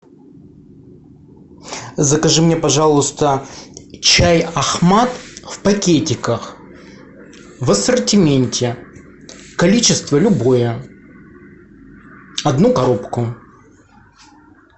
закажи мне пожалуйста чай ахмад в пакетиках в ассортименте количество любое одну коробку